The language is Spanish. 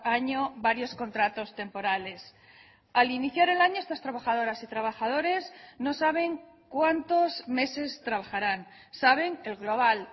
año varios contratos temporales al iniciar el año estas trabajadoras y trabajadores no saben cuántos meses trabajarán saben el global